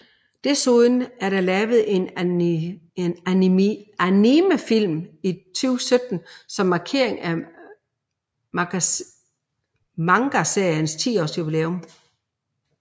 Desuden er der lavet en animefilm i 2017 som markering af mangaseriens 10 års jubilæum